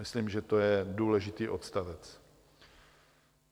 Myslím, že to je důležitý odstavec.